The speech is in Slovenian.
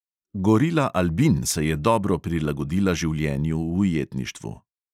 Gorila albin se je dobro prilagodila življenju v ujetništvu.